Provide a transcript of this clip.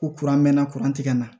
Ko mɛnna ka na